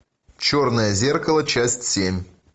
черное зеркало часть семь